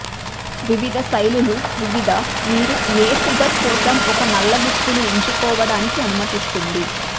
వివిధ శైలులు వివిధ మీరు ఏ ఫిగర్ కోసం ఒక నల్ల దుస్తులు ఎంచుకోవడానికి అనుమతిస్తుంది